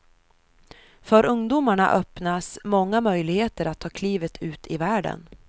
För ungdomarna öppnas många möjligheter att ta klivet ut i världen.